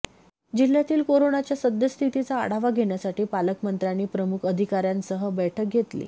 जिल्ह्यातील कोरोनाच्या सद्यस्थितीचा आढावा घेण्यासाठी पालकमंत्र्यांनी प्रमुख अधिकाऱ्यांसह बैठक घेतली